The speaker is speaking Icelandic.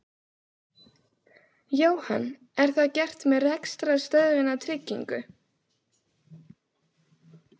Jóhann: Er það gert með rekstrarstöðvunartryggingu?